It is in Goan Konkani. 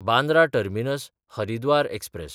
बांद्रा टर्मिनस–हरिद्वार एक्सप्रॅस